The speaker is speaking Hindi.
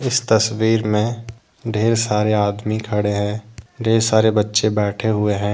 इस तस्वीर में ढ़ेर सारे आदमी खड़े है ढेर सारे बच्चे बैठे हुए है।